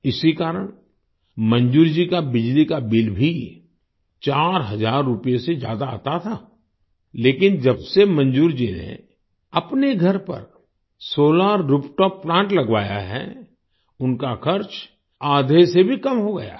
इसी कारण मंजूर जी का बिजली का बिल भी 4 हजार रूपए से ज्यादा आता था लेकिन जब से मंजूर जी ने अपने घर पर सोलार रूफटॉप प्लांट लगवाया है उनका खर्च आधे से भी कम हो गया है